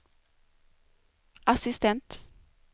assistent